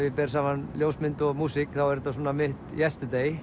ég ber saman ljósmynd og músík þá er þetta mitt